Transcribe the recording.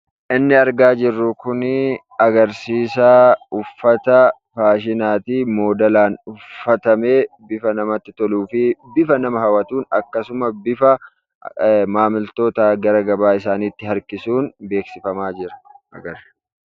Inni argaa jirru kun uffata faashinaati. Kan modeelaan uffatamee haala namatti toluu fi bifa nama hawwatuu fi bifa maamiltoota gara gabaa isaaniitti harkisuun beeksisaa jirti.